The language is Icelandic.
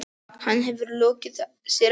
Hann hefur lokið sér af.